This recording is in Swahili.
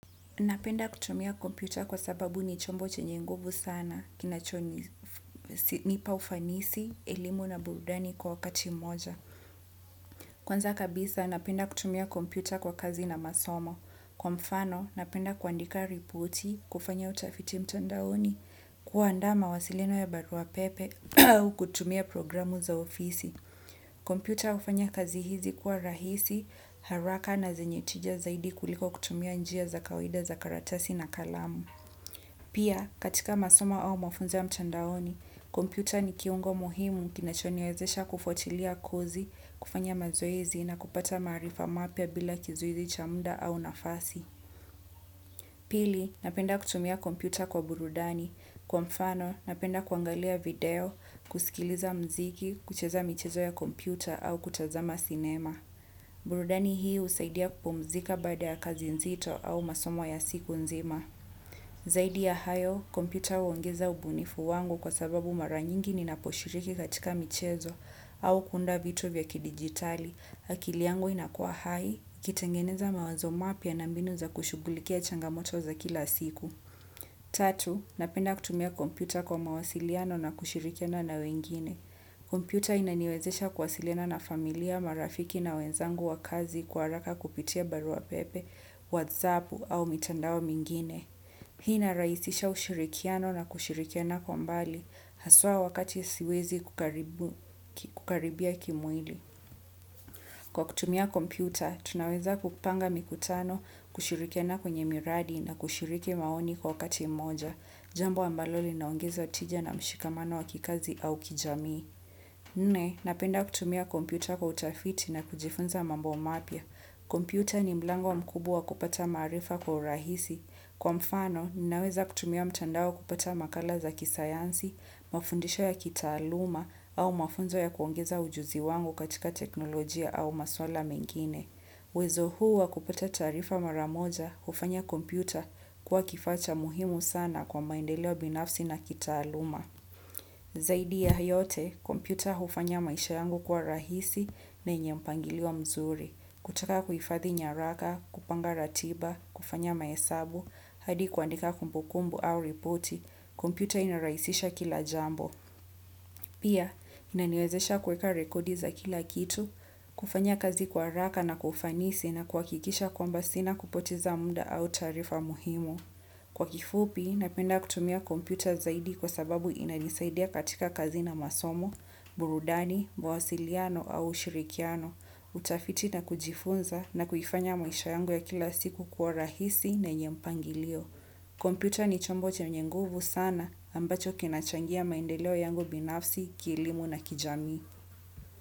Napenda kutumia kompyuta kwasababu ni chombo chenye nguvu sana kinachonipa ufanisi elimu na burudani kwa wakati mmoja. Kwanza kabisa, napenda kutumia komputa kwa kazi na masomo. Kwa mfano, napenda kuandika ripoti, kufanya utafiti mtandaoni, kuanda mawasiliano ya barua pepe, kutumia programu za ofisi. Kompyuta hufanya kazi hizi kuwa rahisi, haraka na zenye tija zaidi kuliko kutumia njia za kawida za karatasi na kalamu. Pia, katika masomo au mafunzo ya mtandaoni, kompyuta ni kiungo muhimu kinacho niwezesha kufwatilia kozi, kufanya mazoezi na kupata maarifa mapya bila kizuizi cha muda au nafasi. Pili, napenda kutumia kompyuta kwa burudani. Kwa mfano, napenda kuangalia video, kusikiliza mziki, kucheza michezo ya kompyuta au kutazama sinema. Burudani hii husaidia kupumzika baada ya kazi nzito au masomo ya siku nzima. Zaidi ya hayo, kompyuta huongeza ubunifu wangu kwa sababu mara nyingi ni naposhiriki katika michezo au kuunda vitu vya kidigitali, akili yangu inakua hai, nikitengeneza mawazo mapya na mbinu za kushughulikia changa moto za kila siku. Tatu, napenda kutumia kompyua kwa mawasiliano na kushirikiana na wengine. Kompyuta inaniwezesha kuwasiliana na familia marafiki na wenzangu wa kazi kwa haraka kupitia barua pepe, whatsap au mitandao mingine. Hii ina rahisisha ushirikiano na kushirikiana kwa mbali, haswa wakati siwezi kukaribia kimwili. Kwa kutumia kompyuta, tunaweza kupanga mikutano, kushirikiana kwenye miradi na kushiriki maoni kwa wakati moja. Jambo ambalo linaongeza tija na mshikamano wa kikazi au kijamii. Nne, napenda kutumia kompyuta kwa utafiti na kujifunza mambo mapya. Kompyuta ni mlango mkubwa wa kupata maarifa kwa urahisi. Kwa mfano, nina weza kutumia mtandao kupata makala za kisayansi, mafundisho ya kitaaluma au mafunzo ya kuongeza ujuzi wangu katika teknolojia au maswala mengine. uWezo hu wa kupata taarifa mara moja, hufanya kompyuta kuwa kifaa cha muhimu sana kwa maendeleo binafsi na kitaaluma. Zaidi ya yote, kompyuta hufanya maisha yangu kuwa rahisi na yenye mpangilio mzuri. Kutaka huhifadhi nyaraka, kupanga ratiba, kufanya mahesabu, hadi kuandika kumbukumbu au ripoti, kompyuta inarahisisha kila jambo. Pia, inaniwezesha kweka rekodi za kila kitu, kufanya kazi kwa haraka na kwa ufanisi na kuhakikisha kwamba sina kupoteza muda au taarifa muhimu. Kwa kifupi, napenda kutumia computer zaidi kwa sababu inanisaidia katika kazi na masomo, burudani, mawasiliano au ushirikiano, utafiti na kujifunza na kuifanya maisha yangu ya kila siku kuwa rahisi na yenye mpangilio. Computer ni chombo chenye nguvu sana ambacho kinachangia maendeleo yangu binafsi, kielimu na kijamii.